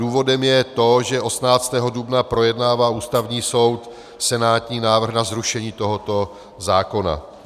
Důvodem je to, že 18. dubna projednává Ústavní soud senátní návrh na zrušení tohoto zákona.